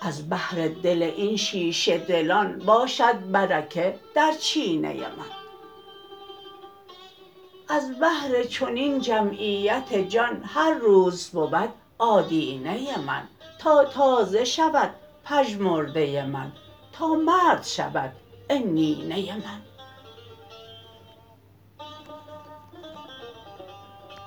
از بهر دل این شیشه دلان باشد بر که در چینه من از بهر چنین جمعیت جان هر روز بود آدینه من تا تازه شود پژمرده من تا مرد شود عنینه من